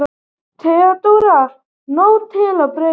THEODÓRA: Nóg til af brauði!